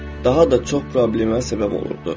Daha da çox problemə səbəb olurdu.